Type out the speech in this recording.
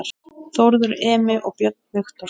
Þórður Emi og Björn Viktor